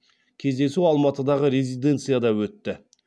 кездесу алматыдағы резиденцияда өтті